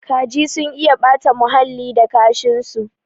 Kaji sun iya ɓata huhalli da kashin su